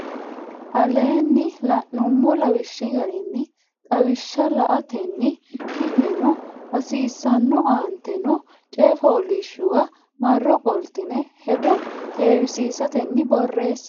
aleenni la nummo lawishshi garinni lawishsha la atenni ki neno hasiissanno aante noo coy fooliishshuwa marro qoltine hedo heewisiisatenni borreesse.